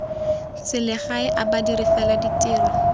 selegae a badiri fela ditiro